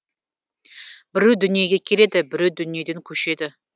біреу дүниеге келеді біреу дүниеден көшеді